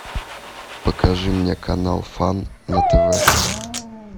покажи мне канал фан на тв